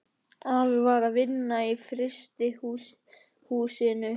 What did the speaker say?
Afi var að vinna í frystihús- inu.